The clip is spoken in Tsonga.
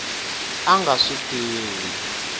a a nga swi tivi